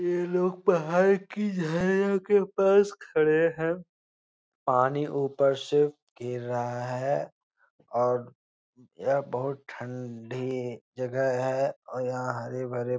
ये लोग पहाड़ की झाया के पास खड़े है पानी ऊपर से घेर रहा है और यह बहुत ठं ढी जगह है और यहाँ हरे-भरे --